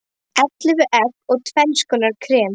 Ellefu egg og tvenns konar krem.